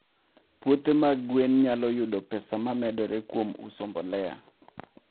Puothe mag gwen nyalo yudo pesa momedore kuom uso mbolea.